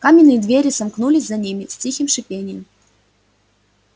каменные двери сомкнулись за ними с тихим шипением